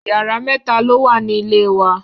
Yàrá mẹta lo wà ní ilẹ̀ wa.